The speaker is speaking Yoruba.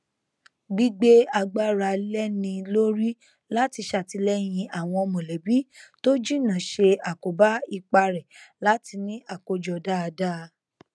gbígbé agbára léni lórí láti ṣàtìlẹyìn àwọn mọlẹbí tó jìnnà ṣe àkóbá ipá rẹ láti ní àkójọ dáadáa